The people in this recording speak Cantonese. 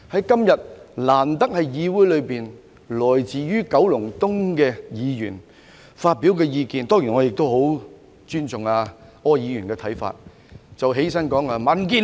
今天，難得在議會內，來自九龍東選區的議員發表他的意見——當然我很尊重柯議員的看法。